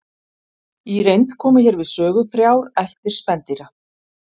Í reynd koma hér við sögu þrjár ættir spendýra.